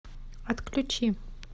отключи